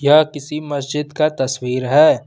यह किसी मस्जिद का तस्वीर है।